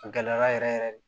A gɛlɛyara yɛrɛ yɛrɛ de